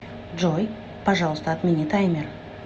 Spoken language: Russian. джой пожалуйста отмени таймер